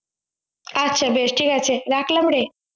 আচ্ছা বেশ ঠিক আছে রাখলাম রে